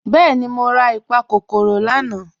Bẹẹni, mọ̀ rà ìpàkọ́kọ́rò lànà.